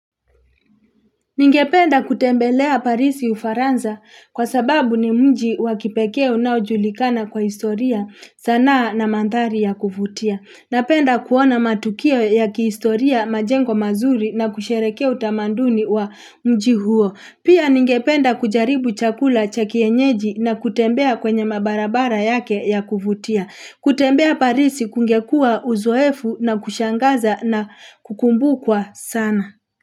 Ningependa kutembelea parisi ufaransa kwa sababu ni mji wakipekee unaujulikana kwa historia sanaa na mandhari ya kuvutia. Napenda kuona matukio ya kihistoria majengo mazuri na kusherehekea utamanduni wa mji huo. Pia ningependa kujaribu chakula cha kienyeji na kutembea kwenye mabarabara yake ya kuvutia. Kutembea parisi kungekuwa uzoefu na kushangaza na kukumbukwa sana.